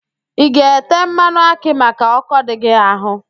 ị ga-ete mmanụ akị maka ọ́kọ́ dị gị ahụ?